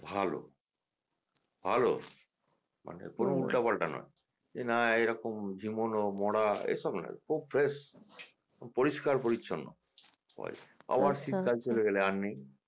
ভালো ভালো মানে কোনও উল্টা পাল্টা নয় যে না এরকম ঝিমোনো মরা এসব না খুব ফ্রেশ পরিষ্কার পরিচ্ছন্ন আবার শীতকাল চলে গেলে আর নেই